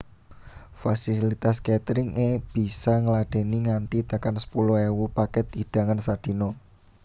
Fasilitas catering é bisa ngladèni nganti tekan sepuluh ewu pakèt hidangan sadina